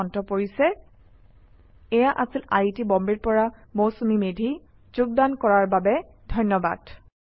এই শিক্ষণ সহায়িকা আগবঢ়ালে পল্লভ প্ৰান গুস্বামীয়ে আই আই টী বম্বে ৰ পৰা মই মৌচুমী মেধী এতিয়া আপুনাৰ পৰা বিদায় লৈছো যোগদান কৰাৰ বাবে ধন্যবাদ